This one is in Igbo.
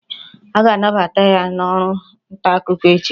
A ga-anabata ya n'ọrụ ntaakụkọ echi